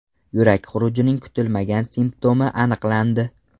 Yurak xurujining kutilmagan simptomi aniqlandi.